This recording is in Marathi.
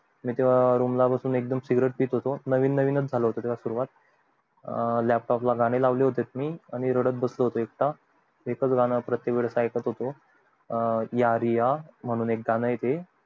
तेव्हा मी room मध्ये बसून cigarete पित होतो नवीन नवीन च झाली होती तेव्हा सुरुवात अं laptop गाणे लावले होते मी आणि रडत बसलो होतो एकटा एक च गं प्रत्येक वेळेस ऐकत होतो अं यारी या म्हणून एक गाणं ये ते